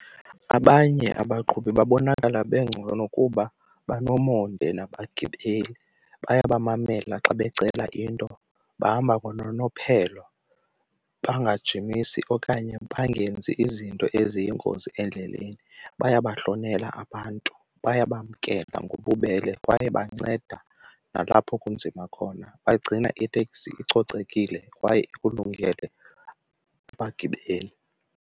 Abanye abaqhubi babonakala bengcono kuba banomonde nabagibeli, baya bamamela xa becala into, bahamba ngononophelo bangajimisi okanye bangenzi izinto eziyingozi endleleni. Bayabahlonela abantu bayabamkela ngobubele kwaye banceda nalapho kunzima khona, bagcina iteksi icocekile kwaye ikulungele abagibeli.